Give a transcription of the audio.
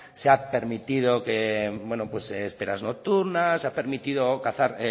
se han permitido esperas nocturnas se ha permitido cazar